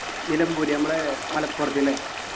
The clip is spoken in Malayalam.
നിലമ്പൂർ നമ്മടെ മലപ്പുറത്ത് ല്ലേ